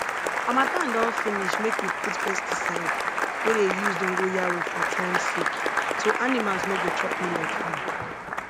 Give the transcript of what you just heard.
harmattan don finish make we put pesticide wey dey use dongoyaro for time sake so animals no go chop millet farm